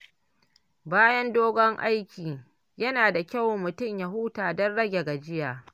Bayan dogon aiki, yana da kyau mutum ya huta don rage gajiya.